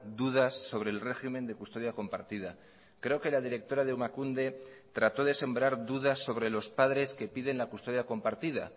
dudas sobre el régimen de custodia compartida creo que la directora de emakunde trató de sembrar dudas sobre los padres que piden la custodia compartida